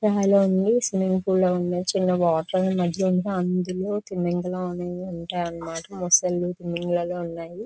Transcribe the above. Swimming pool లా ఉంది చిన్న వాటర్ మద్యలో అందులో తిమ్మింగలం అనేవి ఉంటాయన్నమాట మొసళ్ళు తిమింగలాలు ఉన్నాయి.